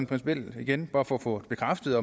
principielt igen bare for at få bekræftet